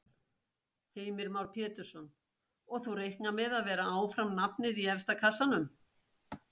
Heimir Már Pétursson: Og þú reiknar með að vera áfram nafnið í efsta kassanum?